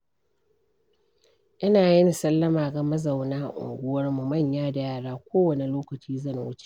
ina yin sallama ga mazauna unguwarmu, manya da yara ko wane lokaci zan wuce.